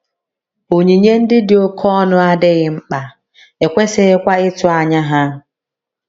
Onyinye ndị dị oké ọnụ adịghị mkpa, e kwesịghịkwa ịtụ anya ha.